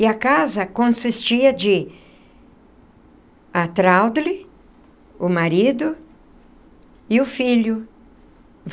E a casa consistia de... a Traudly... o marido... e o filho.